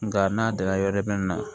Nka n'a danna yɔrɔ jumɛn na